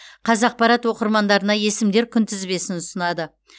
қазақпарат оқырмандарына есімдер күнтізбесін ұсынады